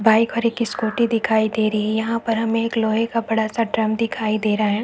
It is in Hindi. बाइक और स्कूटी दिखाई दे रही है यहाँ पर हमें लोहै बड़ा से का ड्रम दिखाई दे रहा है।